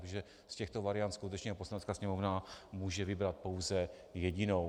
Protože z těchto variant skutečně Poslanecká sněmovna může vybrat pouze jedinou.